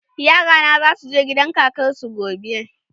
Yara na za su gidan kakar su gobe.